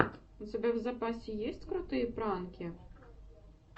у тебя в запасе есть крутые пранки